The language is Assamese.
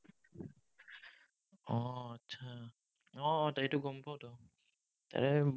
উম উম সেইটো গম পাঁওতো। এৰ